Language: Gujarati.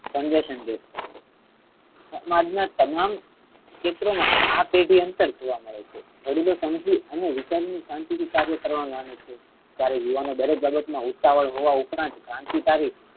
સંઘર્ષણ વ્યક્ત કરે છે. સમાજ ના તમામ ક્ષેત્રે મા આ પેઢી અંતર જોવા મળે છે. વડીલો સમજુ અને વિશ્વ્ ની શણતી થી કર્યો કરવા મા મને છે. ત્યારે યુવાનો દરેક બાબત મા ઉતાવળ હોવા ઉપરાંત ક્રાંતિકારી